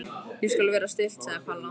Ég skal vera stillt sagði Palla.